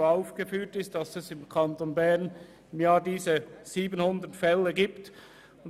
Sie führt diese 700 Fälle pro Jahr im Kanton Bern auf.